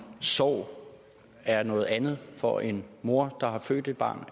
sorg er noget andet for en mor der har født et barn